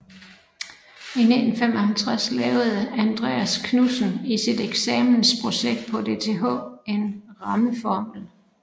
I 1955 lavede Andreas Knudsen i sit eksamensprojekt på DTH en rammeformel